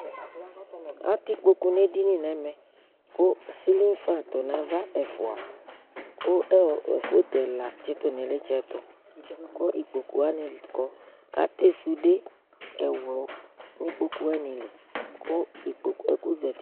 atɛ ikpɔkʊ nu ɛdini ku ceilling fan tʊnɔnava ɛfɔa ku photo ku ikpɔku ku atɛ sɔdɛ nu ikpɔkʊ wanili nu zatɩ